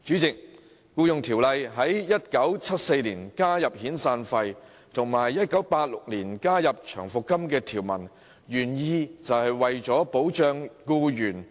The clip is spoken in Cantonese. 《僱傭條例》在1974年加入有關遣散費的條文，並在1986年加入有關長期服務金的條文，原意是為了保障僱員。